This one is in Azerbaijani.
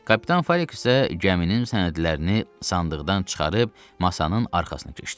Kapitan Falik isə gəminin sənədlərini sandıqdan çıxarıb masanın arxasına keçdi.